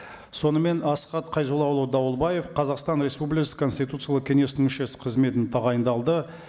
сонымен асхат қайзоллаұлы дауылбаев қазақстан республикасы конституциялық кеңесінің мүшесі қызметіне тағайындалды